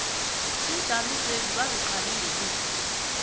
iinjamiswezi baziqale ngelihlo